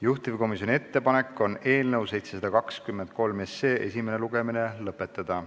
Juhtivkomisjoni ettepanek on eelnõu 723 esimene lugemine lõpetada.